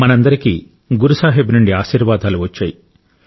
మనందరికీ గురు సాహిబ్ నుండి ఆశీర్వాదాలు వచ్చాయి